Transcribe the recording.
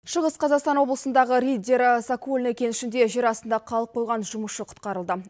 шығыс қазақстан облысындағы риддер сокольный кенішінде жер астында қалып қойған жұмысшы құтқарылды